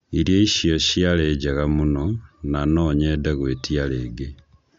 Irio icio ciarĩ njega mũno, na no nyende gwĩtĩa rĩngĩ